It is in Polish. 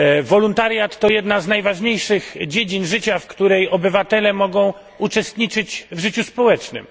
Wolontariat to jedna z najważniejszych dziedzin życia, w której obywatele mogą uczestniczyć w życiu społecznym.